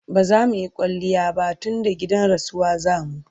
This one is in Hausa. bazamuyi kwaliya ba tunda gidan rasuwa zamu